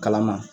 Kala ma